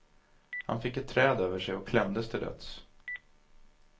Han fick ett träd över sig och klämdes till döds.